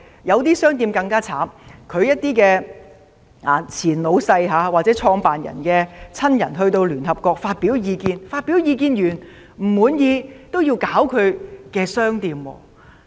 有些更慘，由於它們的前老闆或創辦人的親人在聯合國發表的意見引起不滿，結果令店鋪被騷擾。